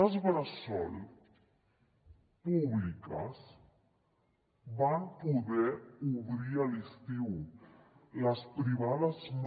les bressol públiques van poder obrir a l’estiu les privades no